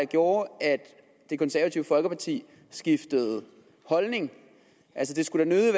gjorde at det konservative folkeparti skiftede holdning altså det skulle da